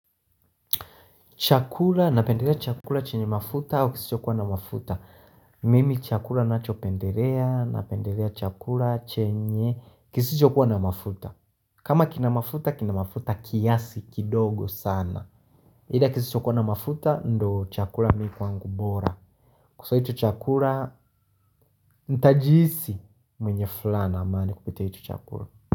Chakura, napenderea chakura chenye mafuta au kisichokuwa na mafuta? Mimi chakura nacho penderea, napenderea chakura chenye, kisichokuwa na mafuta. Kama kinamafuta, kinamafuta kiasi kidogo sana. Hida kisichokuwa na mafuta, ndo chakura miku wangu bora. Kwa ito chakura, ntajiisi mwenye fulana amani kupita ito chakura.